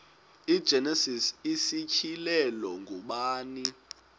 igenesis isityhilelo ngubani